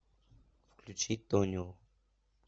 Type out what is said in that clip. включи тонио